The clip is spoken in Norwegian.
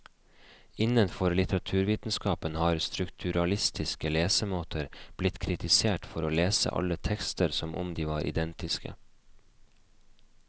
Innenfor litteraturvitenskapen har strukturalistiske lesemåter blitt kritisert for å lese alle tekster som om de var identiske.